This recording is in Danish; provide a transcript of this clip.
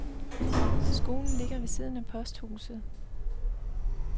Skolen ligger ved siden af posthuset.